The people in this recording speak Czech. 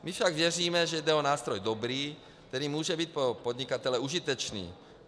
My však věříme, že jde o nástroj dobrý, který může být pro podnikatele užitečný.